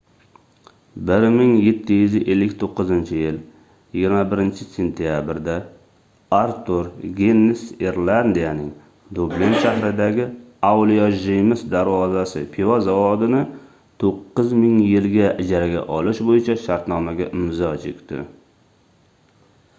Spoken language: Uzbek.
1759-yil 24-sentabrda artur ginnes irlandiyaning dublin shahridagi avliyo jeyms darvozasi pivo zavodini 9 ming yilga ijaraga olish boʻyicha shartnomaga imzo chekdi